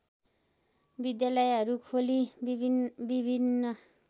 विद्यालयहरू खोली विभिन्न